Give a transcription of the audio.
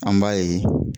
An b'a ye